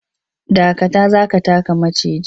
Dakata! za ka taka maciji.